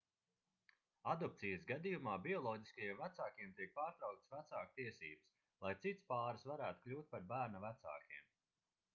adopcijas gadījumā bioloģiskajiem vecākiem tiek pārtrauktas vecāku tiesības lai cits pāris varētu kļūt par bērna vecākiem